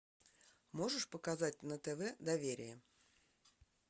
можешь показать на тв доверие